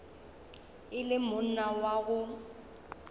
e le monna wa go